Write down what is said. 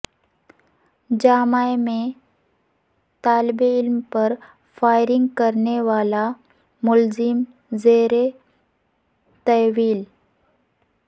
جامعہ میں طالب علم پر فائرنگ کرنے والا ملزم زیر تحویل